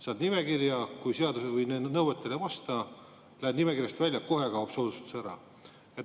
Saad nimekirja, kui nõuetele ei vasta, lähed nimekirjast välja ja kohe kaob soodustus ära.